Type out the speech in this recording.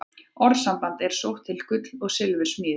Orðasambandið er sótt til gull- og silfursmíði.